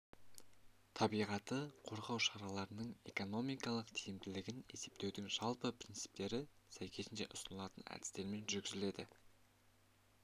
табиғатты қорғау шараларының экономикалық тиімділігін есептеудің жалпы принциптері сәйкесінше ұсынылатын әдістермен жүргізіледі